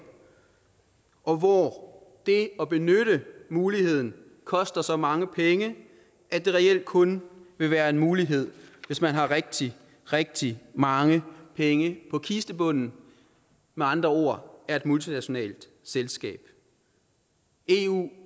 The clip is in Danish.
og hvor det at benytte muligheden koster så mange penge at det reelt kun vil være en mulighed hvis man har rigtig rigtig mange penge på kistebunden med andre ord er et multinationalt selskab eu